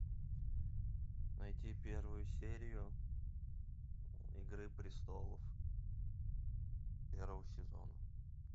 найти первую серию игры престолов первого сезона